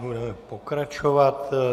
Budeme pokračovat.